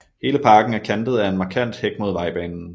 Hele parken er kantet af en markant hæk mod vejbanen